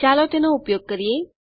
ચાલો તેનો ઉપયોગ કરીએ